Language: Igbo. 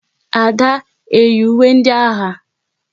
Ada eyi ùwé ndị agha?